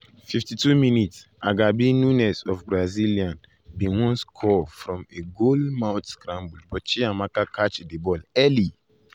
52‘ agabi nunes of brazilian bin wan score score from a goal mouth scramble but chiamaka catch di ball early.